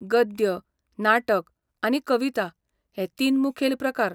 गद्य, नाटक, आनी कविता हे तीन मुखेल प्रकार .